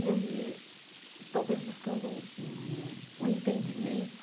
E aí, talvez buscando um um um entendimento,